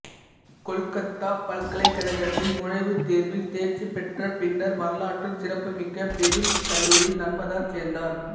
கொல்கத்தா பல்கலைக்கழகத்தில் நுழைவுத் தேர்வில் தேர்ச்சி பெற்ற பின்னர் வரலாற்றுச் சிறப்பு மிக்க பெதுன் கல்லூரியில் நர்மதா சேர்ந்தார்